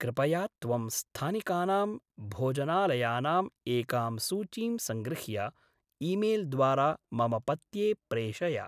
कृपया त्वं स्थानिकानां भोजनालयानाम् एकां सूचीं सङ्गृह्य ईमेल्द्वारा मम पत्ये प्रेषय।